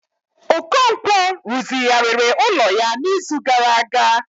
Okonkwo rụzigharịrị ụlọ ya n'izu gara aga